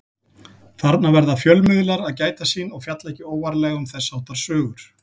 Þarna verða fjölmiðlar að gæta sín og fjalla ekki óvarlega um þess háttar sögur.